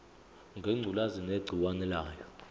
ngengculazi negciwane layo